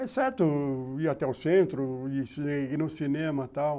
Exceto ir até o centro, ir no cinema, tal.